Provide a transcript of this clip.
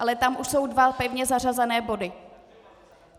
Ale tam už jsou dva pevně zařazené body.